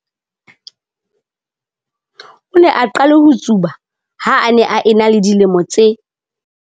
O ne a qale ho tsuba ha a ne a ena le dilemo tse